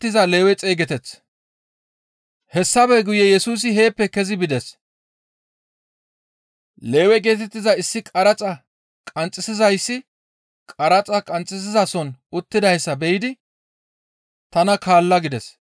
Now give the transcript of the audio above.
Hessafe guye Yesusi heeppe kezi bides. Lewe geetettiza issi qaraxa qanxxisizayssi qaraxa qanxxizason uttidayssa be7idi, «Tana kaalla» gides.